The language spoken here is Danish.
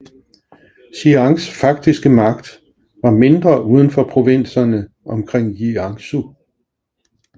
Chiangs faktiske magt var mindre uden for provinserne omkring Jiangsu